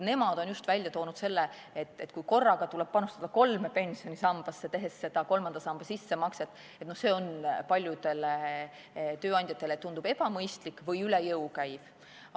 Nemad on välja toonud selle, et kui korraga tuleb panustada kolme pensionisambasse, tehes seda kolmanda samba sissemakset, siis see tundub ebamõistlik või üle jõu käiv.